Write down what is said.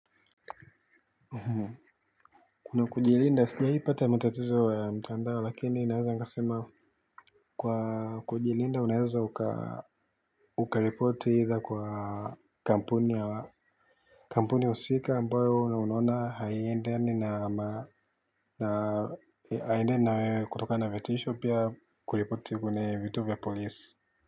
Kuna kujilinda sijai pata matatizo ya mtandao lakini naeza nikasema kwa kujilinda unaeza uka ukareporti idha kwa kampuni usika ambayo na unona haiendeni na haiendeni na wewe kutoka na vatisho pia kuripoti kwenye vituo vya polisi.